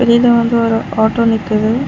இதுல வந்து ஒரு ஆட்டோ நிக்குது.